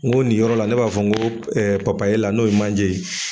N go nin yɔrɔ la ne b'a fɔ nko ɛɛ papapi la n'o ye manje ye.